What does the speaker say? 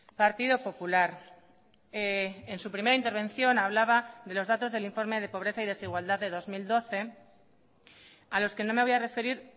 partido popular en su primera intervención hablaba de los datos del informe de pobreza y desigualdad de dos mil doce a los que no me voy a referir